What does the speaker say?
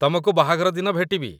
ତମକୁ ବାହାଘର ଦିନ ଭେଟିବି!